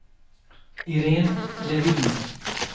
Iréne Levin